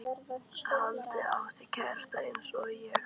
Halla átti kærasta eins og ég.